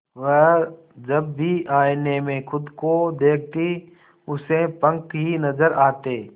वह जब भी आईने में खुद को देखती उसे पंख ही नजर आते